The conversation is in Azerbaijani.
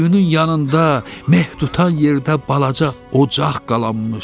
Quyunun yanında, mehd tutan yerdə balaca ocaq qalanmışdı.